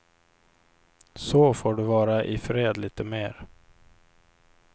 Så får du vara i fred lite mer.